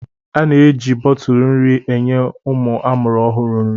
A na-eji bọtụlụ nri enye ụmụ amụrụ ọhụrụ nri.